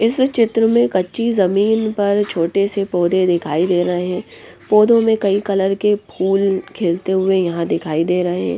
इस चित्र में कच्ची जमीन पर छोटे से पौधे दिखाई दे रहे हैं पौधों में कई कलर के फूल खीलते हुए यहां दिखाई दे रहे हैं।